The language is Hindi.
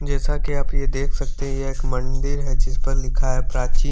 जैसा की आप ये देख सकते है ये एक मंदिर है जिस पर लिखा है प्राची--